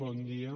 bon dia